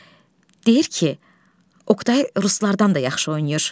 Nadya, deyir ki, Oqtay Ruslardan da yaxşı oynayır.